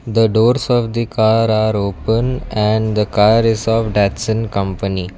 The doors of the car are open and the car is of datsun company.